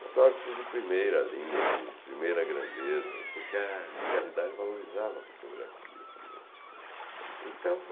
Fotógrafos de primeira linha, de primeira grandeza, porque a realidade valorizava a fotografia também. Então